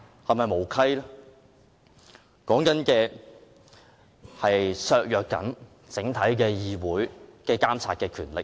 其目的是要削弱整體議會的監察權力。